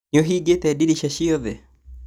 Nĩũhingĩte ndirica ciothe?